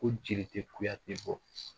Ko jeri tɛ kuyate bɔ.